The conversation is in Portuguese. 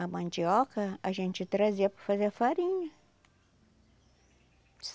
A mandioca a gente trazia para fazer a farinha.